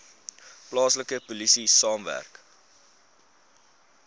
plaaslike polisie saamwerk